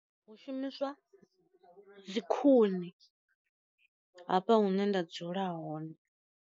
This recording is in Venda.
Hu shumiswa dzi khuni hafha hune nda dzula hone.